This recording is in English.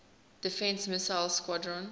defense missile squadron